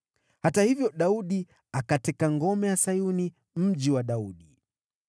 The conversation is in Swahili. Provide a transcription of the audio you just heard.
Hata hivyo, Daudi akaiteka ngome ya Sayuni, Mji wa Daudi.